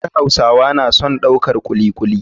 Har hausawa na son daukar kuli kuli.